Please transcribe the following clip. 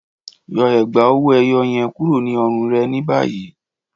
Yọ ègbá owó-èyó yẹ̀n kúrò ní ọ̀rùn rẹ ni bayí.